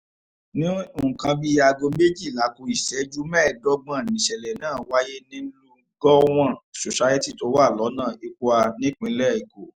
ní nǹkan bíi aago méjìlá ku ìṣẹ́jú mẹ́ẹ̀ẹ́dọ́gbọ̀n níṣẹ̀lẹ̀ náà wáyé nínú gọ́wọ̀n society tó wà lọ́nà ipuã nípìnlẹ̀ èkó